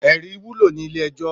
Èrí wúló ni ilé èjò